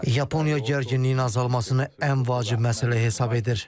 Yaponiya gərginliyin azalmasını ən vacib məsələ hesab edir.